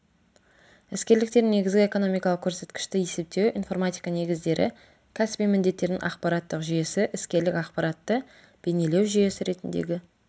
іскерліктер негізгі экономикалық көрсеткішті есептеу информатика негіздері кәсіби міндеттердің ақпараттық жүйесі іскерлік ақпаратты бейнелеу жүйесі ретіндегі